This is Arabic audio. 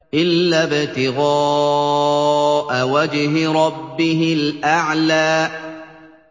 إِلَّا ابْتِغَاءَ وَجْهِ رَبِّهِ الْأَعْلَىٰ